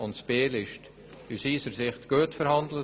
In Biel wurde aus unserer Sicht gut verhandelt.